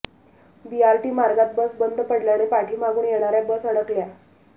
BRT मार्गात bus बंद पडल्याने पाठीमागून येणार्या बस अडकल्या